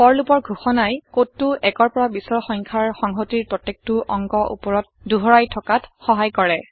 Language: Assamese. ফৰ লুপৰ ঘোষণাই কডটো ১ৰ পৰা ২০ৰ সংখ্যাৰ সংহতিৰ প্ৰত্যেকটো অংগ উপৰত দোহাৰাই থকাত সহাই কৰে